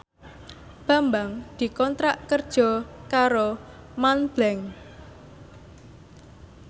Bambang dikontrak kerja karo Montblanc